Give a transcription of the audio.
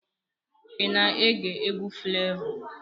Ị na-ege egwu Flevọ?